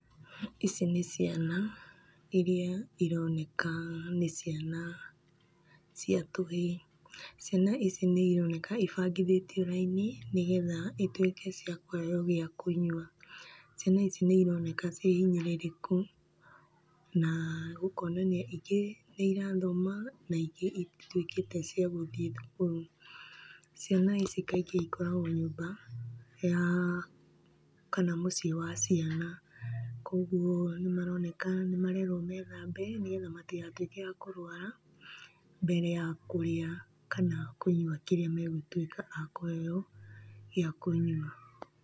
Ici nĩ ciana iria ironeka nĩ ciana cia tũhĩĩ. Ciana ici nĩ ironeka ibangithĩtio raini nĩ getha ituĩke cia kũheo gĩa kũnyua. Ciana ici nĩ irokena ciĩhinyĩrĩrĩku na gũkonanio ingĩ nĩ irathona, na ingĩ itituĩkĩte cia gũthiĩ thukuru. Ciana ici kaingĩ ikoragwo nyũmba kana mũciĩ wa ciana, kũguo nĩ maroneka nĩ marerwo methambe nĩ getha matigatũĩke a kũrũara, mbere ya kũrĩa kana kũnyua kĩrĩa megũtuĩka a kũheo gĩa kũnyua.